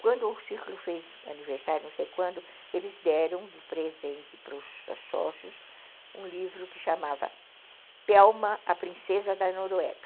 Quando o Círculo fez aniversário, não sei quando, eles deram de presente para os sócios um livro que chamava Pelma, a Princesa da Noruega.